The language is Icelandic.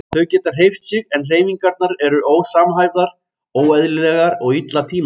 Þau geta hreyft sig en hreyfingarnar eru ósamhæfðar, óeðlilegar og illa tímasettar.